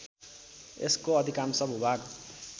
यसको अधिकांश भूभाग